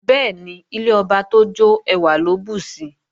Bẹ́ẹ̀ni, ilé ọba tó jọ́ ẹwà ló bùsi